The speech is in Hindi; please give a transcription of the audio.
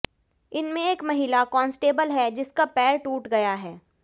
इनमे एक महिला कांस्टेबल है जिसका पैर टूट गया है